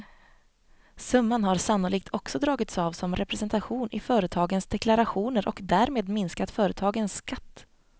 Summan har sannolikt också dragits av som representation i företagens deklarationer och därmed minskat företagens skatt.